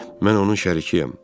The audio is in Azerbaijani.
Mən onun şərikkiyəm.